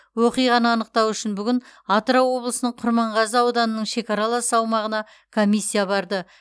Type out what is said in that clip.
оқиғаны анықтау үшін бүгін атырау облысының құрманғазы ауданының шекаралас аумағына комиссия барды